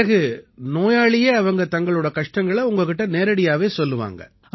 பிறகு நோயாளியே அவங்க தங்களோட கஷ்டங்களை உங்ககிட்ட நேரடியாவே சொல்லுவாங்க